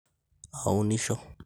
Aunisho.